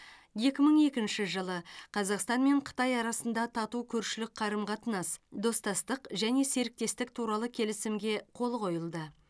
екі мың екінші жылы қазақстан мен қытай арасында тату көршілік қарым қатынас достастық және серіктестік туралы келісімге қол қойылды